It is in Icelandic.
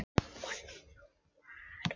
Já, satt er það, viðurkenndi hann.